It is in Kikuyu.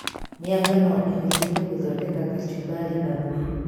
Mĩanga no ĩhũthĩke gũthondeka kacumbarĩ na thubu